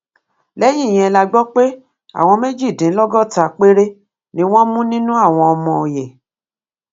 lẹyìn yẹn la gbọ pé àwọn méjìdínlọgọta péré ni wọn mú nínú àwọn ọmọ ọyẹ